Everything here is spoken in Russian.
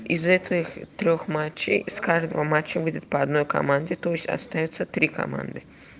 из этих трёх матчей с каждого матча будет по одной команде то есть остаётся три команды